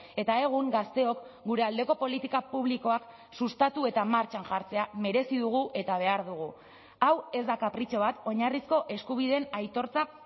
eta egun gazteok gure aldeko politika publikoak sustatu eta martxan jartzea merezi dugu eta behar dugu hau ez da kapritxo bat oinarrizko eskubideen aitortza